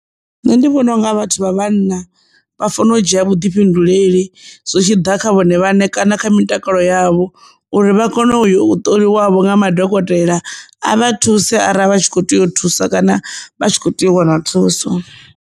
Nṋe ndi vhona unga vhathu vha vhanna vha fanela u dzhia vhuḓifhinduleli zwi tshiḓa kha vhone vhaṋe kana kha mitakalo yavho uri vha kone u yo u ṱoliwavho nga madokotela a vha thuse arali vha tshi kho tea u thusa kana vha tshi kho tea u wana thuso.